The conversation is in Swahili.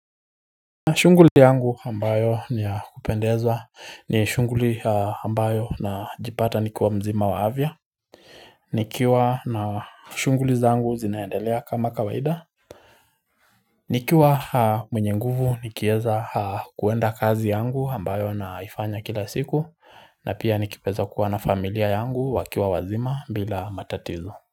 Shunguli yangu ambayo niakupendezwa ni shunguli ambayo na jipata nikiwa mzima wa avya Nikiwa na shunguli zangu zinaendelea kama kawaida Nikiwa mwenye nguvu nikieza kuenda kazi yangu ambayo naifanya kila siku na pia nikipeza kuwa na familia yangu wakiwa wazima bila matatizo.